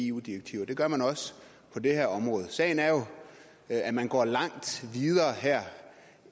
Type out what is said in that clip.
eu direktiver og det gør man også på det her område sagen er jo at at man går langt videre her